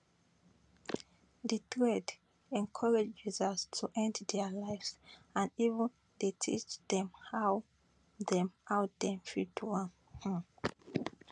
di thread encourage users to end dia lives and even dey teach dem how dem how dem fit do am um